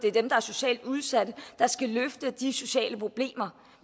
er dem der er socialt udsatte der skal løfte de sociale problemer